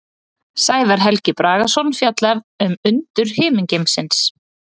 Sævar Helgi Bragason fjallar um undur himingeimsins.